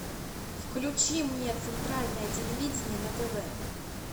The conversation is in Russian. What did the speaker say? включи мне центральное телевидение на тв